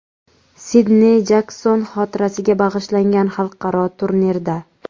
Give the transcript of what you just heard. Sidney Jakson xotirasiga bag‘ishlangan xalqaro turnirda.